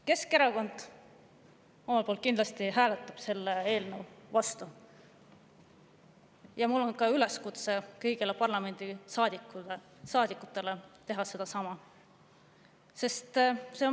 Keskerakond kindlasti hääletab selle eelnõu vastu ja mul on üleskutse kõigile parlamendisaadikutele teha sedasama.